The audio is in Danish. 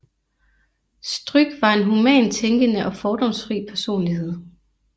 Stryk var en humant tænkende og fordomsfri personlighed